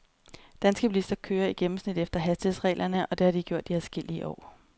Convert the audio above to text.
Danske bilister kører i gennemsnit efter hastighedsreglerne, og det har de gjort i adskillige år.